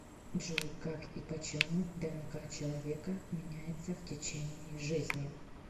джой как и почему днк человека меняется в течение жизни